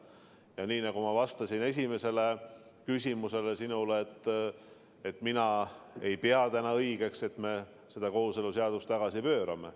Ja nii nagu ma vastasin sinu esimesele küsimusele, mina ei pea täna õigeks, et me kooseluseaduse tagasi pöörame.